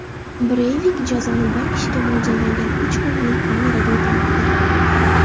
Breyvik jazoni bir kishiga mo‘ljallangan uch xonali kamerada o‘tamoqda.